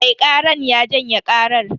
Mai karar ya janye karar.